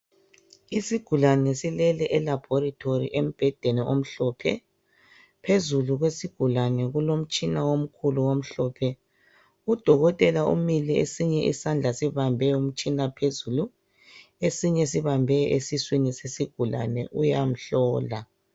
Isigulani silele eLabolatory embhedeni omhlophe phezulu kwesigulani kulomtshina olombala omhlophe udokotela umile esinye isandla sibambe umtshina phezulu esinye sibambe esiswini sesigulani uyamhlola